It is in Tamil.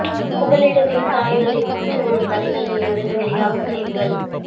புகலிடத்தையும் தாயகத்தையும் முடிச்சுப்போடும் கதைகளிலிருந்து வெளியாகும் செய்திகள்